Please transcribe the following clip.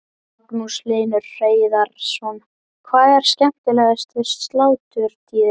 Magnús Hlynur Hreiðarsson: Hvað er skemmtilegast við sláturtíðina?